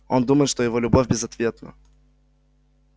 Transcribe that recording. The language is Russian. он думает что его любовь безответна